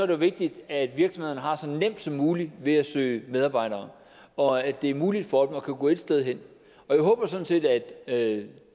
jo vigtigt at virksomhederne har så nemt som muligt ved at søge medarbejdere og at det er muligt for dem at kunne gå ét sted hen jeg håber sådan set at at